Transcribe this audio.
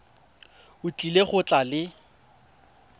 o tlile go tla le